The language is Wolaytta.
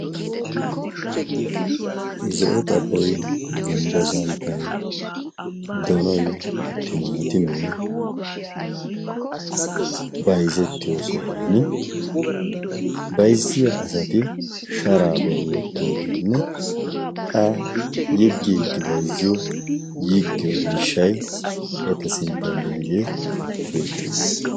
zo'o xaboi gumbbo santtay donoy timaatimee bayzettiyo sohan bayzziya asati sharaa bolli wottoo geenne qa yiggii gi bayzziyo yiggiyo miishshay etta sinttanddiyaagee beettees.